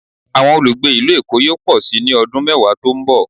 Awọn olugbe ilu Èko yoo pọ si ni ọdun mẹwa to n bọ